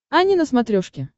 ани на смотрешке